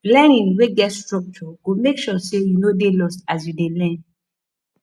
learning wey get structure go make sure say you no dey lost as you dey learn